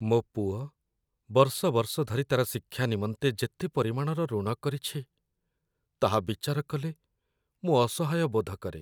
ମୋ ପୁଅ ବର୍ଷ ବର୍ଷ ଧରି ତା'ର ଶିକ୍ଷା ନିମନ୍ତେ ଯେତେ ପରିମାଣର ଋଣ କରିଛି, ତାହା ବିଚାର କଲେ ମୁଁ ଅସହାୟ ବୋଧ କରେ।